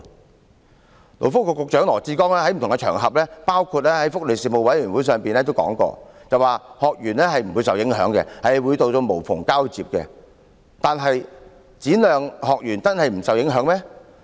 勞工及福利局局長羅致光在不同的場合，包括福利事務委員會上表示，學員不會受影響，政府會做到無縫交接；可是，展亮中心的學員真的不會受影響嗎？